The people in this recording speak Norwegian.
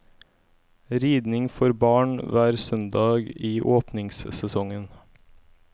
Ridning for barn hver søndag i åpningssesongen.